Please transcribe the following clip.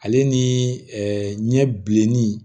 Ale ni ɲɛ bilenni